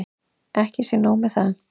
Ekki sé nóg með það.